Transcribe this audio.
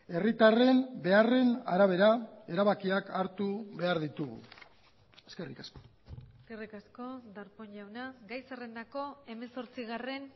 herritarren beharren arabera erabakiak hartu behar ditugu eskerrik asko eskerrik asko darpón jauna gai zerrendako hemezortzigarren